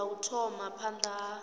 ya u thoma phanda ha